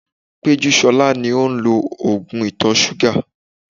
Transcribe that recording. Pejusola ni ó ń lo oògùn ìtọ̀ ṣúgà.